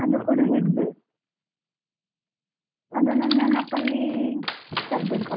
ಅದು ಕೂಡಾ ಹಿಡ್ಬೇಕು, ಅದನೊಂದು ನೆನಪಲ್ಲಿ ತರ್ಬೆಕ್ ಅಲ್ಲಿಗ್.